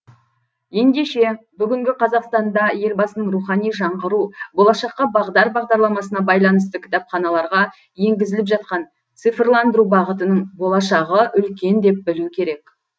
ендеше бүгінгі қазақстанда елбасының рухани жаңғыру болашаққа бағдар бағдарламасына байланысты кітапханаларға енгізіліп жатқан цифрландыру бағытының болашағы үлкен деп білу керек